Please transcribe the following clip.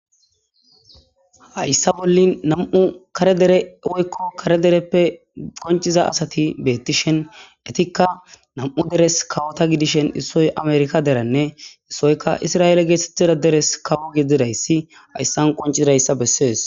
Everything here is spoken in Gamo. hayssa bollin nam7u kare dere woykko kare dereppe qonciza asati beettishen etikka nam7u deres kawota gidishen issoy amerika deranne issoyka isra7eele geethtettida deres kawo gedidayssi hayssan qoncizdayssa bessees